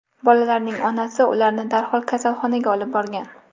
Bolalarning onasi ularni darhol kasalxonaga olib borgan.